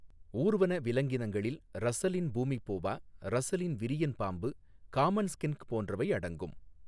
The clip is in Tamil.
ஊர்வன விலங்கினங்களில் ரஸ்ஸலின் பூமி போவா, ரஸ்ஸலின் விரியன் பாம்பு, காமன் ஸ்கின்க் போன்றவை அடங்கும்.